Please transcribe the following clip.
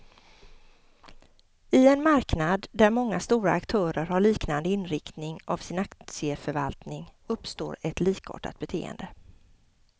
I en marknad där många stora aktörer har liknande inriktning av sin aktieförvaltning, uppstår ett likartat beteende.